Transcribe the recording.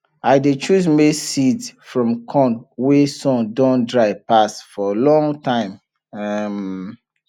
i dey choose maize seed from corn wey sun don dry pass for long time um